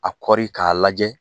A kɔri k'a lajɛ